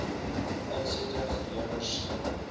insette gelewer sien